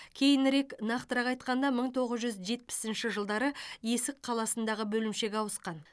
кейінірек нақтырақ айтқанда мың тоғыз жүз жетпісінші жылдары есік қаласындағы бөлімшеге ауысқан